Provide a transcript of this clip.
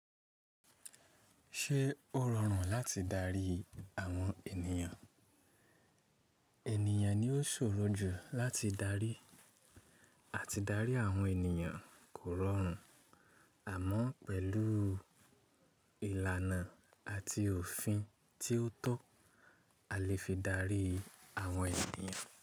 Ṣé ó rọrùn láti darí àwọn ènìyàn? Ènìyàn ni ó ṣòro jù láti darí, àti darí àwọn ènìyàn kò rọrùn. Àmọ́ pẹ̀lú ìlànà àti òfin tí ó tọ́, a lè fi darí àwọn ènìyàn.